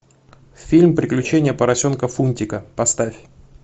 фильм приключения поросенка фунтика поставь